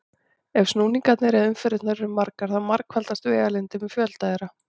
Ef snúningarnir eða umferðirnar eru margar þá margfaldast vegalengdin með fjölda þeirra.